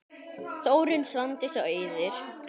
Þórunn, Svandís og Auður.